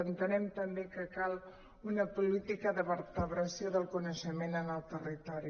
entenem també que cal una política de vertebració del coneixement en el territori